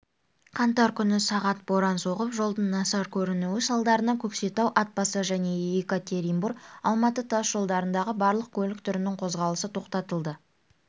қаңтар күні сағат боран соғып жолдың нашар көрінуі салдарынан көкшетау атбасар және екатеринбор алматы тас жолдарындағы барлық көлік түрінің қозғалысы тоқтатылды